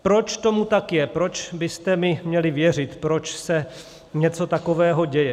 Proč tomu tak je, proč byste mi měli věřit, proč se něco takového děje?